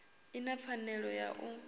i na pfanelo ya u